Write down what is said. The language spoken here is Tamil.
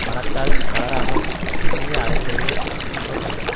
மனத்தால் தளராமல் எண்ணிய அளவிலேயே அத்துன்பம் அழியும்